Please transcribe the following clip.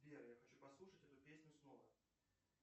сбер я хочу послушать эту песню снова